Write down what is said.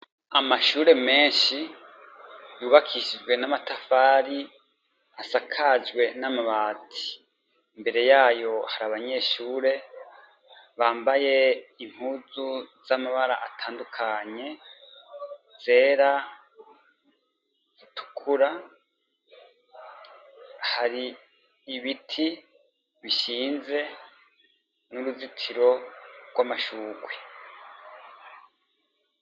Amashure menshi yubakishijwe namatafari asakajwe namabati, imbere yayo hari abanyeshure bambaye impuzu z'amabara atadukanye zera, zitukura har'ibiti bishize n'uruzitiro rw'amashurwe.